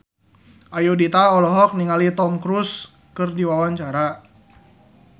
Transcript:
Ayudhita olohok ningali Tom Cruise keur diwawancara